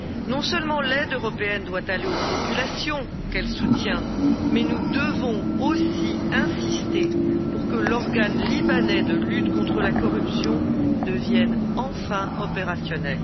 Non seulement l'aide européenne doit aller aux populations qu'elle soutient, mais nous devons aussi insister pour que l'organe libanais de lutte contre la corruption devienne enfin opérationnel.